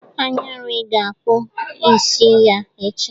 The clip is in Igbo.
Anyarị ga-akpụ isi ya echi.